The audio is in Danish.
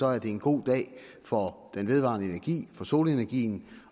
er det en god dag for den vedvarende energi for solenergien